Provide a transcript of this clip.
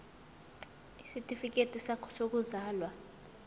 isitifikedi sakho sokuzalwa